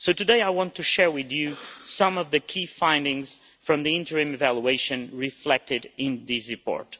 So today, I want to share with you some of the key findings from the interim evaluation reflected in this report.